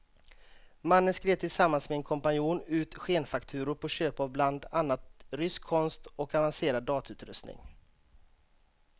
Mannen skrev tillsammans med en kompanjon ut skenfakturor på köp av bland annat rysk konst och avancerad datautrustning.